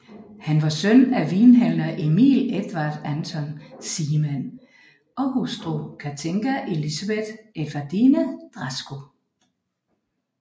Han var søn af vinhandler Emil Edvard Anton Seemann og hustru Cathinka Elisabeth Edvardine Draskau